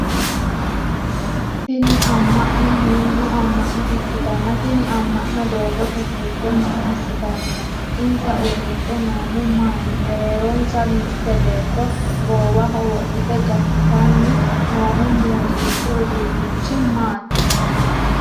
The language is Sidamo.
Tinni ama'no hundu ama'no ikitanna tinni ama'no dogoote fulte maa asitanni no? Insa udidhe noohu maati? Mereeronsa mite beetto goowaho wodhite gatanni noohu muuziiqu uduunnichi maati,,?